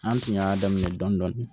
An tun y'a daminɛ dɔndɔni